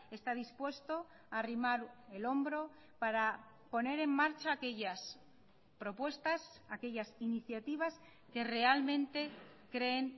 está dispuesto a arrimar el hombro para poner en marcha aquellas propuestas aquellas iniciativas que realmente creen